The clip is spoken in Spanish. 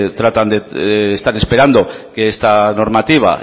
tratan de están esperando que esta normativa